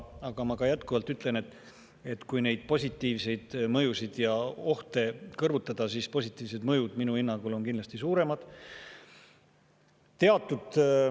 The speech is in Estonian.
Aga ma ka jätkuvalt ütlen, et kui neid positiivseid mõjusid ja ohte kõrvutada, siis positiivsed mõjud on minu hinnangul kindlasti suuremad.